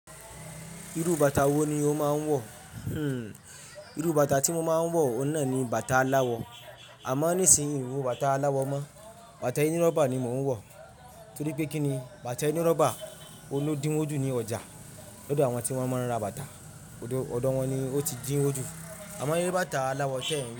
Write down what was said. Irú bàtà wo ni o máa ń wọ̀? Hmm irú bàtà tí mo máa ń wọ̀ ohun náà ni bàtà aláwọ̀. Àmọ́ nísìnyí n wo bàtà aláwọ̀ mọ́. Bàtà eni rọ́bà ni mò ń wọ̀. Torí pé kí ni? Bàtà eni rọ́bà ọun ló dín wójú ní ọjà. Lódo àwọn tí wọ́n máa ń ra bàtà. Odo, odò wọn ni ó ti dín wójú. Àmọ́ ẹní bá tà aláwọ̀ tiẹ́ n ri.